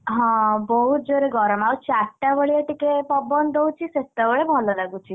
ହଁ ବହୁତ ଯୋରେ ଗରମ, ଆଉଚାରିଟା ବେଳିଆ ଟିକେ ପବନ ଦଉଛି, ସେତବେଳେ ଭଲ ଲାଗୁଛି।